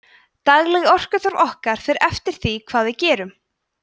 dagleg orkuþörf okkar fer eftir því hvað við gerum